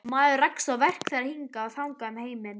Maður rekst á verk þeirra hingað og þangað um heiminn.